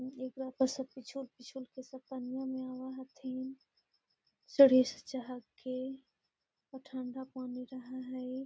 एगो लड़का सब पिछु-पिछु में सब पनिया में आवे हथीन सीढ़ी से चहरथीन और ठंडा पानी रहे हेय।